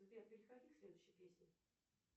сбер переходи к следующей песне